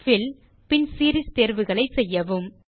bill பின் series தேர்வுகளை செய்யவும்